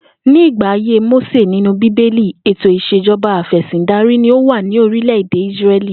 Ní ìgbà ayé Mósè nínú bíbélì, ètò ìs̩ejo̩ba afè̩sìndarí ni ó wà ní orílè̩-èdè Ísré̩lì